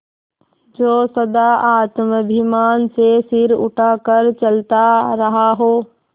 जो सदा आत्माभिमान से सिर उठा कर चलता रहा हो